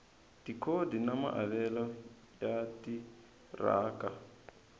tikhodi na maavelo ya timaraka